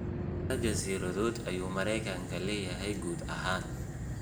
Immisa jasiiradood ayuu Maraykanku leeyahay guud ahaan?